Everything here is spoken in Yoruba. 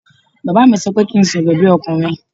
Bàbá mi sọ pé kí n sọ̀rọ̀ bí ọkùnrin